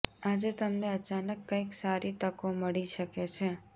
આજે તમને અચાનક કઈક સારી તકો મળી શકે છે